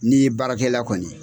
N'i ye baarakɛla kɔni ye